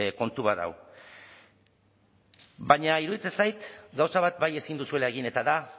kontu bat dago baina iruditzen zait gauza bat bai ezin duzuela egin eta da